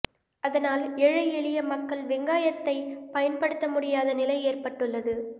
அதனால் ஏழை எளிய மக்கள் வெங்காயத்தைப் பயன்படுத்த முடியாத நிலை ஏற்பட்டுள்ளது